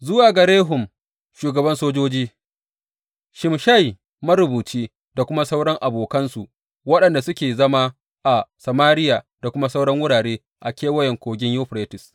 Zuwa ga Rehum shugaban sojoji, Shimshai marubuci da kuma sauran abokansu waɗanda suke zama a Samariya da kuma sauran wurare a Kewayen Kogin Yuferites.